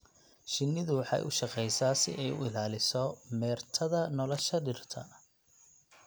Shinnidu waxay u shaqeysaa si ay u ilaaliso meertada nolosha dhirta.